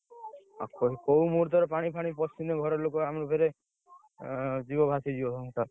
କୋଉ ମୁହୂର୍ତ୍ତରେ ପାଣି ଫାଣି ପଶିଲେ ଘର ଲୋକ ଆମେ ଫେରେ, ଏଁ ଯିବ ଭାସିଯିବ ସଂସାର।